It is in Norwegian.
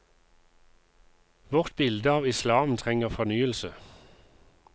Vårt bilde av islam trenger fornyelse.